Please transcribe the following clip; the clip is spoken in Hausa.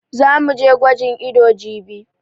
Za mu je gwajin ido jibi.